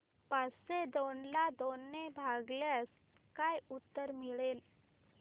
पाचशे दोन ला दोन ने भागल्यास काय उत्तर मिळेल